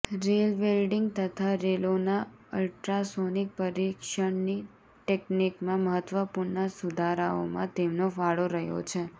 rail welding તથા રેલોના ultrasonic પરિક્ષણની ટેકનિકમાં મહત્વપૂર્ણ સુધારાઓમાં તેમનો ફાળો રહ્યો છે